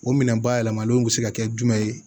O minɛn bayɛlɛmalenw be se ka kɛ jumɛn ye